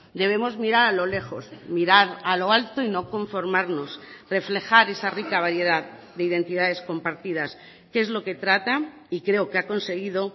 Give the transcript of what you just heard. debemos mirar a lo lejos mirar a lo alto y no conformarnos reflejar esa rica variedad de identidades compartidas que es lo que trata y creo que ha conseguido